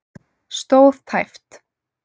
Stóð tæpt